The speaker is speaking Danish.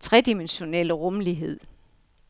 tredimensionelle rumlighed.